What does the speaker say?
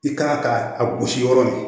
I kan ka a gosi yɔrɔ min